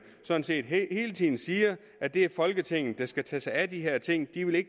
sådan set hele tiden siger at det er folketinget der skal tage sig af de her ting de vil